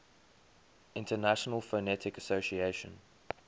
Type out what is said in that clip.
international phonetic association